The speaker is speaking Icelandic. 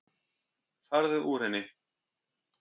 Farðu úr henni.